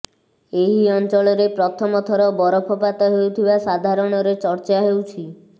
ଏହି ଅଞ୍ଚଳରେ ପ୍ରଥମ ଥର ବରଫପାତ ହେଉଥିବା ସାଧାରଣରେ ଚର୍ଚ୍ଚା ହେଉଛି